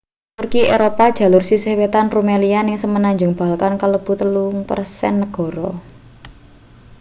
turki eropa jalur sisih wetan rumelia ning semenanjung balkan kalebu 3% negara